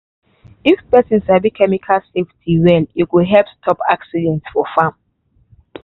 if person sabi chemical safety well e go help stop accident for farm.